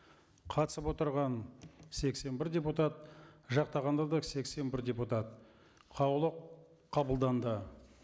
қатысып отырған сексен бір депутат жақтағандар да сексен бір депутат қаулы қабылданды